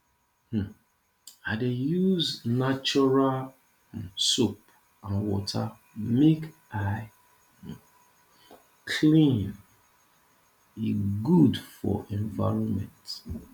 um i dey use natural um soap and water make i um clean e good for environment